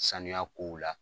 Saniya kow la